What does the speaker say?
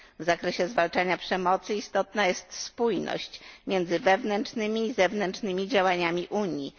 W zakresie zwalczania przemocy istotna jest spójność między wewnętrznymi i zewnętrznymi działaniami Unii.